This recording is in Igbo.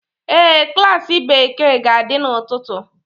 Ee, klas Bekee ga-adị n'ụtụtụ.